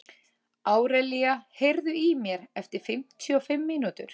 Árelía, heyrðu í mér eftir fimmtíu og fimm mínútur.